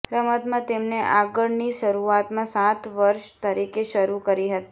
રમતમાં તેમણે આગળ ની શરૂઆતમાં સાત વર્ષ તરીકે શરૂ કરી હતી